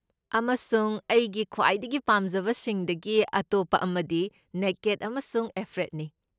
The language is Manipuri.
ꯑꯃꯁꯨꯡ ꯑꯩꯒꯤ ꯈ꯭ꯋꯥꯏꯗꯒꯤ ꯄꯥꯝꯖꯕꯁꯤꯡꯗꯒꯤ ꯑꯇꯣꯞꯄ ꯑꯃꯗꯤ ꯅꯦꯀꯦꯗ ꯑꯃꯁꯨꯡ ꯑꯦꯐ꯭ꯔꯦꯗꯅꯤ꯫